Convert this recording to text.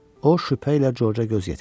O şübhə ilə Corca göz yetirdi.